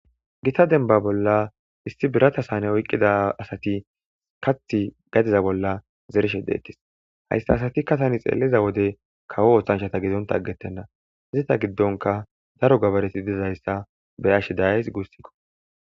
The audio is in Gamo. Gita denba bolla issi birata saane oyqqida asati kath gadiza bolla zereshe deettis hayssa asatikka tani xeeliza wode kawo ooththanchata gizonta aggettenna izita giddonka daro gabareti dizayssa be ashe dayays guussikko.